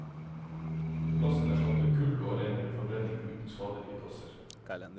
Plasten erstatter kull og har renere forbrenning uten skadelige gasser.